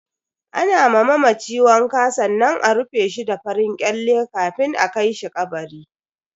Ana ma mamaci wanka sannan a rufe shi da farin kyale kafin a kai shi kabari.